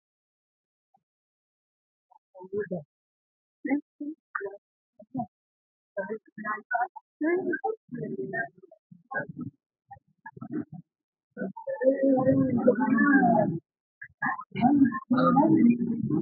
Tini misile aana la'neemohu maxaafu aanidi qoola ikkanna, kuni maxaafi sidaamuniha aliba sai'ino woy xagge loosino manni taarikke biuxisate borreesinoniho